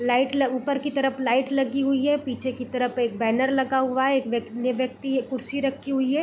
Light लग ऊपर की तरफ लाइट लगी हुई है पीछे की तरफ एक बैनर लगा हुआ है एक व्य एक व्यक्ति कुर्सी रखी हुई है।